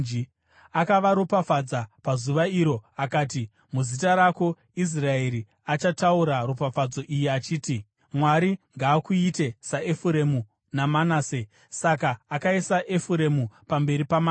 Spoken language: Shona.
Akavaropafadza pazuva iro akati, “Muzita rako, Israeri achataura ropafadzo iyi achiti: ‘Mwari ngaakuite saEfuremu naManase.’ ” Saka akaisa Efuremu pamberi paManase.